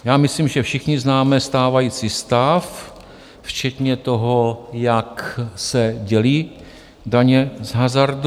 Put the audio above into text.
Já myslím, že všichni známe stávající stav, včetně toho, jak se dělí daně z hazardu.